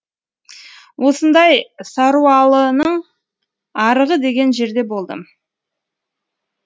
осындай саруалының арығы деген жерде болдым